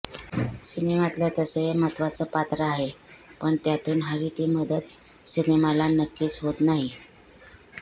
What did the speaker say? सिनेमातलं तसं हे महत्त्वाचं पात्र आहे पण त्यातून हवी ती मदत सिनेमाला नक्कीच होत नाही